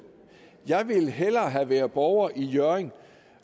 jeg ville hellere have været borger i hjørring